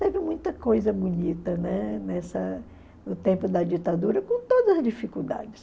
Teve muita coisa bonita, né, nessa no tempo da ditadura, com todas as dificuldades.